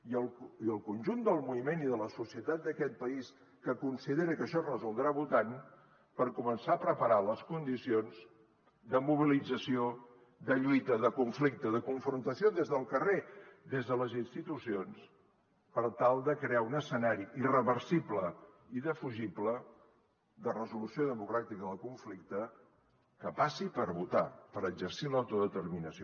i el conjunt del moviment i de la societat d’aquest país que considera que això es resoldrà votant per començar a preparar les condicions de mobilització de lluita de conflicte de confrontació des del carrer des de les institucions per tal de crear un escenari irreversible i indefugible de resolució democràtica del conflicte que passi per votar per exercir l’autodeterminació